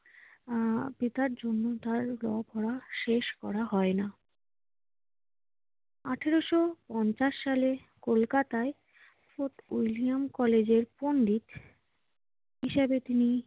আহ পিতার জন্যে তাঁর ল পড়া শেষ করা হয় না। আঠারোশ পঞ্চাশ সালে কলকাতায় ফোর্ট উইলিয়াম কলেজের পণ্ডিত হিসাবে তিনি